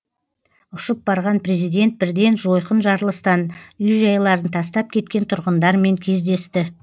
ұшып барған президент бірден жойқын жарылыстан үй жайларын тастап кеткен тұрғындармен кездесті